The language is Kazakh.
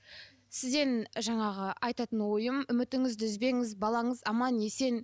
сізден жаңағы айтатын ойым үмітіңізді үзбеңіз балаңыз аман есен